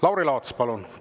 Lauri Laats, palun!